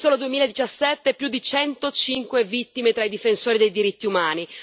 Nel solo 2017 si contano più di 105 vittime tra i difensori dei diritti umani.